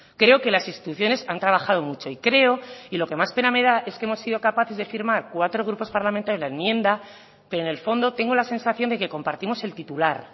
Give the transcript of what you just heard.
creo que las instituciones han trabajado mucho y creo y lo que más pena me da es que hemos sido capaces de firmar cuatro grupos parlamentarios en la enmienda pero en el fondo tengo la sensación de que compartimos el titular